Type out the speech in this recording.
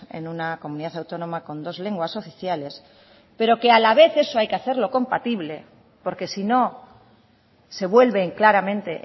en una comunidad autónoma con dos lenguas oficiales pero que a la vez eso hay que hacerlo compatible porque si no se vuelven claramente